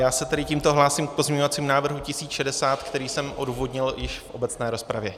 Já se tedy tímto hlásím k pozměňovacímu návrhu 1060, který jsem odůvodnil již v obecné rozpravě.